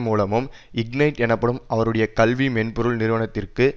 மூலமும் இக்னைட் எனப்படும் அவருடைய கல்வி மென்பொருள் நிறுவனத்திற்கு